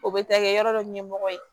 O bɛ taa kɛ yɔrɔ dɔ ɲɛmɔgɔ ye